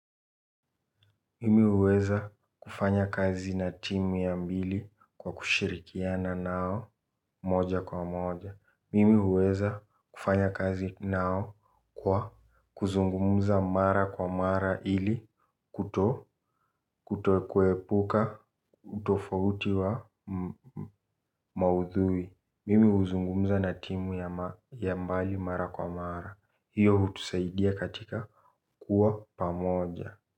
Mimi uweza kufanya kazi na timu ya mbili kwa kushirikiana nao moja kwa moja. Mimi uweza kufanya kazi nao kwa kuzungumza mara kwa mara ili kuto kuto kuepuka utofauti wa maudhui. Mimi uzungumza na timu ya mbali mara kwa mara. Hiyo hutusaidia katika kuwa pamoja.